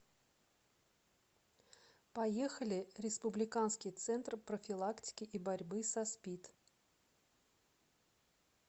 поехали республиканский центр профилактики и борьбы со спид